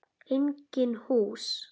Engin hús.